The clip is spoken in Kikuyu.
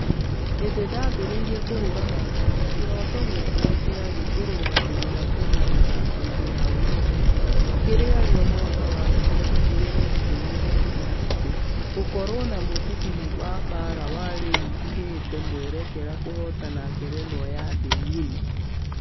Hĩndĩ ndambereirie kũhũrana ngundi kĩroto giakwa kĩarĩ kũrũgamĩrĩra kenya mĩthako-inĩ ya olympics kũrĩa rio mwaka wa ngiri igĩrĩ na ikũmi na ithathatũ. Gũkorwo na mũcibi wa baara na rĩu jigĩte mwerekera kũhotana ngerenwa ya thĩ ngima.